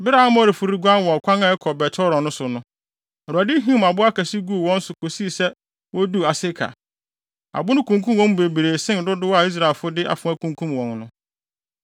Bere a Amorifo reguan wɔ ɔkwan a ɛkɔ Bet-Horon so no, Awurade him abo akɛse guu wɔn so kosii sɛ woduu Aseka. Abo no kunkum wɔn mu bebree sen dodow a Israelfo de afoa kunkum wɔn no.